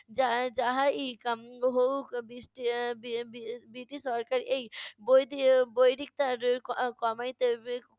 যা যাহাই কাম্য হোক বিশটিশ~ এর বি~ বি~ বৃটিশ সরকার এই বৈরি~ এর বৈরিকতার ক~কমাইতে